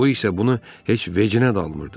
O isə bunu heç vecinə almırdı.